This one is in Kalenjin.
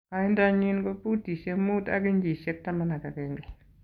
Koindo nyin ko futisiek muut ak inchisiek 11.